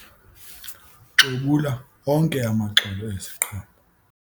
Xobula onke amaxolo eziqhamo.